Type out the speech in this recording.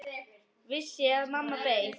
Vissi að mamma beið.